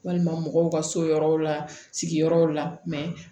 Walima mɔgɔw ka so yɔrɔw la sigiyɔrɔw la